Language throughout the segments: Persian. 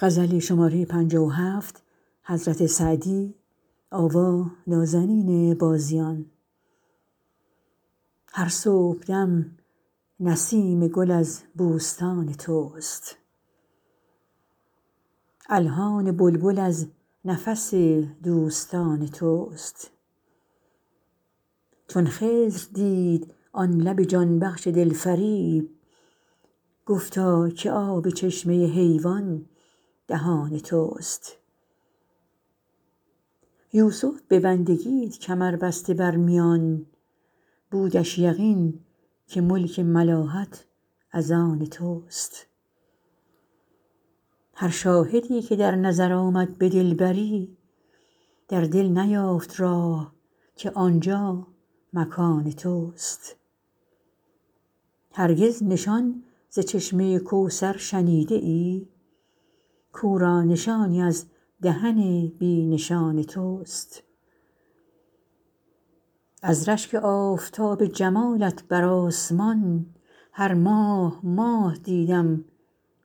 هر صبحدم نسیم گل از بوستان توست الحان بلبل از نفس دوستان توست چون خضر دید آن لب جان بخش دلفریب گفتا که آب چشمه حیوان دهان توست یوسف به بندگیت کمر بسته بر میان بودش یقین که ملک ملاحت از آن توست هر شاهدی که در نظر آمد به دلبری در دل نیافت راه که آنجا مکان توست هرگز نشان ز چشمه کوثر شنیده ای کاو را نشانی از دهن بی نشان توست از رشک آفتاب جمالت بر آسمان هر ماه ماه دیدم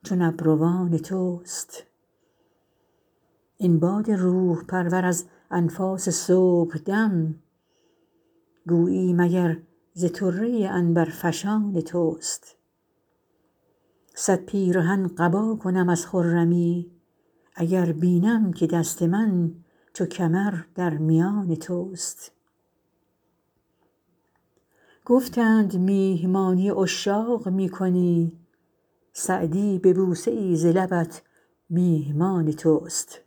چون ابروان توست این باد روح پرور از انفاس صبحدم گویی مگر ز طره عنبرفشان توست صد پیرهن قبا کنم از خرمی اگر بینم که دست من چو کمر در میان توست گفتند میهمانی عشاق می کنی سعدی به بوسه ای ز لبت میهمان توست